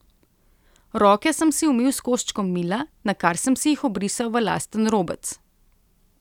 Roke sem si umil s koščkom mila, nakar sem si jih obrisal v lasten robec.